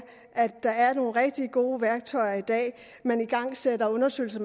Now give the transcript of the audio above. at der er nogle rigtig gode værktøjer i dag man igangsætter undersøgelser